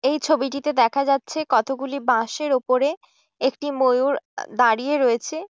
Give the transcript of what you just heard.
এই ছবিটিতে দেখা যাচ্ছে কতগুলি বাঁশ এর উপরে একটি ময়ুর দাঁড়িয়ে রয়েছে।